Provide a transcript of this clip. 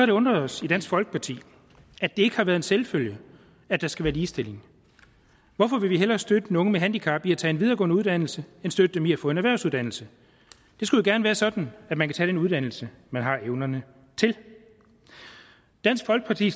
det undret os i dansk folkeparti at det ikke har været en selvfølge at der skal være ligestilling hvorfor vil vi hellere støtte nogle med handicap i at tage en videregående uddannelse end støtte dem i at få en erhvervsuddannelse det skulle gerne være sådan at man kan tage den uddannelse man har evnerne til dansk folkeparti